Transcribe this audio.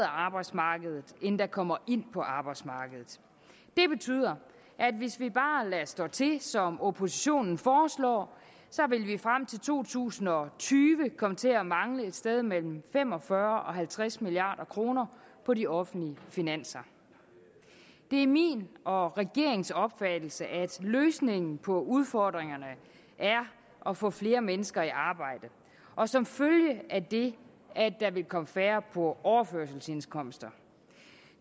arbejdsmarkedet end der kommer ind på arbejdsmarkedet det betyder at hvis vi bare lader stå til som oppositionen foreslår så vil vi frem til to tusind og tyve komme til at mangle et sted mellem fem og fyrre og halvtreds milliard kroner på de offentlige finanser det er min og regeringens opfattelse at løsningen på udfordringerne er at få flere mennesker i arbejde og som følge af det at der vil komme færre på overførselsindkomster